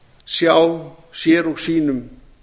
sjá sér og sínum